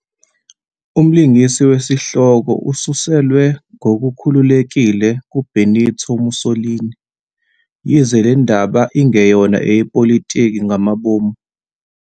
Umlingisi wesihloko ususelwe ngokukhululekile kuBenito Mussolini, yize le ndaba ingeyona eyepolitiki ngamabomu.